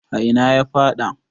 a ina ya faɗa?